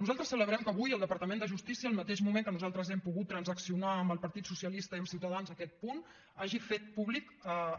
nosaltres celebrem que avui el departament de justícia al mateix moment que nosaltres hem pogut transaccionar amb el partit socialista i amb ciutadans aquest punt hagi fet públic